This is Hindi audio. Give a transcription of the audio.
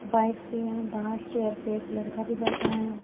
कुछ बाइक्स भी हैं बाहर चेयर पे एक लड़का भी बैठा है।